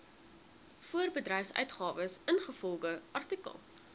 voorbedryfsuitgawes ingevolge artikel